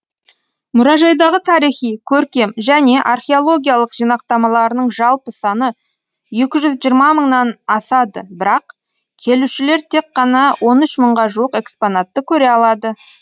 мұражайдағы тарихи көркем және археологиялық жинақтамаларының жалпы саны екі жүз жиырма мыңнан асады бірақ келушілер тек қана он үш мыңға жуық экспонатты көре алады